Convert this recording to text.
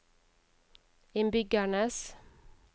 innbyggernes